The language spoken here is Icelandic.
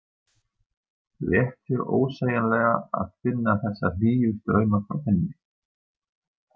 Léttir ósegjanlega að finna þessa hlýju strauma frá henni.